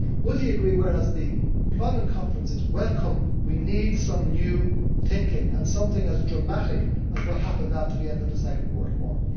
Would he agree that while the Employment Conference is welcome, we need some new thinking and something as dramatic as what happened at the end of the Second World War?